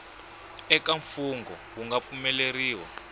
eka mfungho wu nga pfumeleriwa